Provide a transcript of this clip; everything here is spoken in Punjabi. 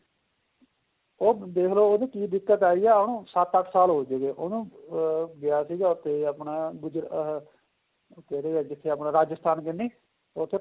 ਉਹ ਦੇਖਲੋ ਉਹਦੀ ਕਿ ਦਿੱਕਤ ਆਈ ਏ ਉਹਨੂੰ ਸੱਤ ਅੱਠ ਸਾਲ ਹੋ ਚੁੱਕੇ ਉਹਨੂੰ ਅਹ ਗਿਆ ਸੀ ਉੱਥੇ ਆਪਣਾ ਅਹ ਜਿੱਥੇ ਆਪਣਾ ਰਾਜਸਥਾਨ ਕ਼ਨੀ ਉੱਥੇ